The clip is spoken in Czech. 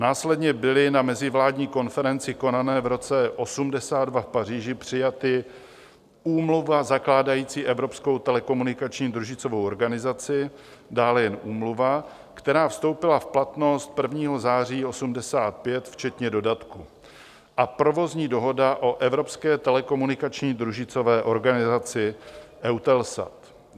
Následně byly na mezivládní konferenci konané v roce 1982 v Paříži přijaty Úmluva zakládající Evropskou telekomunikační družicovou organizaci, dále jen Úmluva, která vstoupila v platnost 1. září 1985 včetně dodatku, a Provozní dohoda o Evropské telekomunikační družicové organizaci EUTELSAT.